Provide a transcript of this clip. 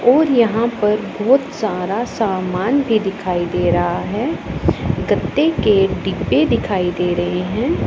और यहां पर बहोत सारा सामान भी दिखाई दे रहा है गद्दे के डिब्बे दिखाई दे रहे हैं।